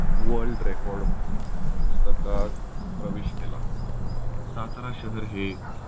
world record पुस्तकात प्रवेश केला. सातारा शहर हे